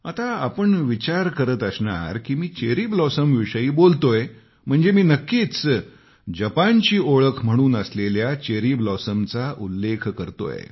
आता तुम्ही विचार करीत असणार की मी चेरी ब्लॉसमविषयी बोलतोय म्हणजे नक्कीच जपानची ओळख म्हणून असलेल्या चेरी ब्लॉसमची गोष्ट करतोय